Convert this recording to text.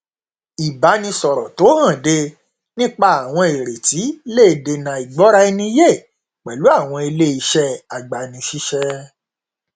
ìbánisọrọ tó hànde nípa àwọn ìrètí le dènà àìgbọraẹniyé pẹlú àwọn ilé iṣẹ agbanisíṣẹ